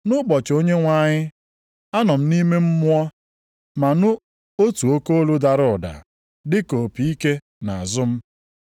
Nʼụbọchị Onyenwe anyị, anọ m nʼime Mmụọ ma nụ otu oke olu dara ụda dị ka opi ike nʼazụ m,